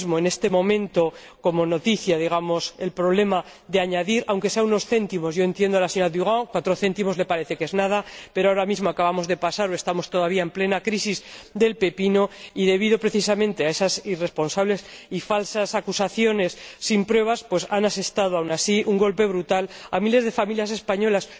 ahora mismo, en este momento, como noticia, digamos, el problema de añadir aunque sea unos céntimos —entiendo a la señora Durant, cuatro céntimos le parece que no son nada—, pero ahora mismo acabamos de pasar o estamos todavía en plena crisis del pepino, y debido precisamente a esas irresponsables y falsas acusaciones sin pruebas, han asestado aun así un golpe brutal a miles de familias españolas